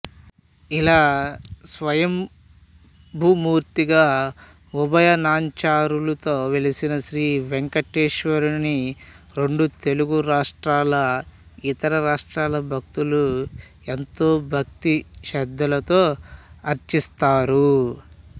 ఇలా స్వయంభూమూర్తిగా ఉభయ నాంచారులతో వెలసిన శ్రీవేంకటేశ్వరునిరెండు తెలుగు రాష్ర్టాలఇతర రాష్ర్టాల భక్తులు ఎంతో భక్తి శ్రద్ధలతో అర్చిస్తారు